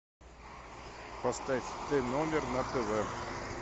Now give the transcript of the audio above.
поставь тномер на тв